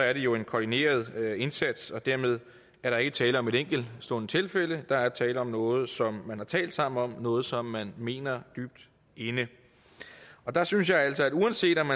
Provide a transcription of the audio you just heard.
at det jo er en koordineret indsats og dermed er der ikke tale om et enkeltstående tilfælde der er tale om noget som man har talt sammen om noget som man mener dybt inde der synes jeg altså at det uanset om